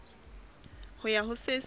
ho ya ho se seng